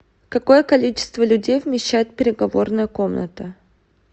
какое количество людей вмещает переговорная комната